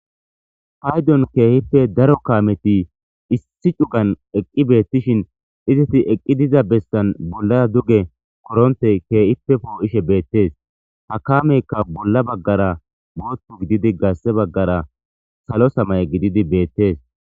Ayfiyan keehipe daro kaamethi issi dhuqan eqqi beeththishin izethi eqqi diza bessan bollaara duge koronththee keehipe poo7ishe beeththees;ha kaameekka bolla baggara booththa gididi garssa baggara salo samye gididi beeththees.